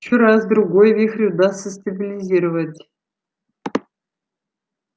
ещё раз-другой вихрь удастся стабилизировать